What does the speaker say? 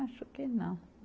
Acho que não.